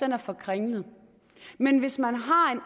er for kringlet men hvis man har en